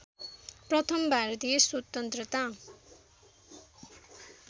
प्रथम भारतीय स्वतन्त्रता